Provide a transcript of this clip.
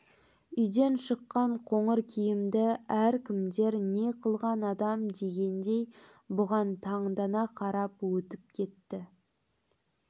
үйден шыққан қоңыр киімді әркімдер не қылған адам дегендей бұған таңдана қарап өтіп кетті